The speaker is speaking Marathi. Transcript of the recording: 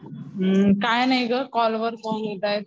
काय नाही ग कॉल वर कॉल येतायेत.